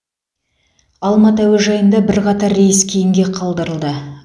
алматы әуежайында бірқатар рейс кейінге қалдырылды